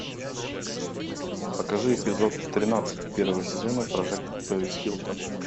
покажи эпизод тринадцать первого сезона прожектор пэрис хилтон